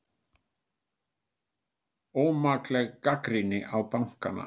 Ómakleg gagnrýni á bankana